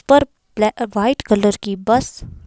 पर black white colour की bus --